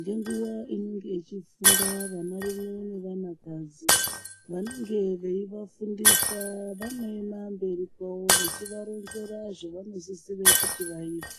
ngenguwa inenge ichifunda vana rume nevana kadzi vanenge veivafundisa vanoema mberi kwawo veironzera zvavanosisira kuti vaite.